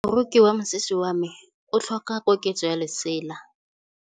Moroki wa mosese wa me o tlhoka koketsô ya lesela.